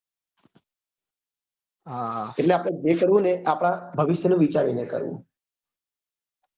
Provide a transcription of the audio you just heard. આપડે આપડે જે કરવું ને એ આપડા ભવિષ્ય નું વિચારી ને કરવું